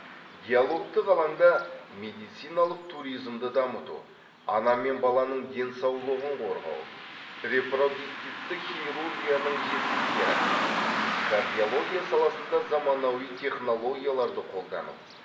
диалогтық алаңда медициналық туризмді дамыту ана мен баланың денсаулығын қорғау репродуктивті хирургияның жетістіктері кардиология саласында заманауи технологияларды қолдану